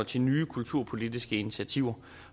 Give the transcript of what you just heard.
til nye kulturpolitiske initiativer